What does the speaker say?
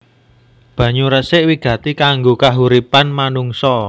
Banyu resik wigati kanggo kahuripan manungsa